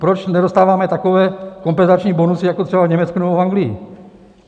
Proč nedostáváme takové kompenzační bonusy jako třeba v Německu nebo v Anglii?